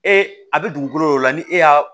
Ee a bɛ dugukolo dɔ la ni e y'a